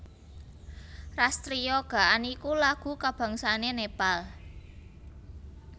Ras Triya Gaan iku lagu kabangsané Nepal